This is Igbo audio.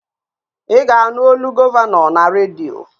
Ị ga-anụ olu gọvanọ na redio